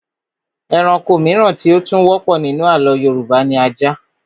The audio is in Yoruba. Ẹranko mìíràn tí ó tún wọ́pọ̀ nínú àlọ́ Yorùbá ni ajá